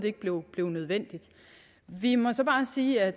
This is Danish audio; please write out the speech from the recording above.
ikke blev nødvendigt vi må så bare sige at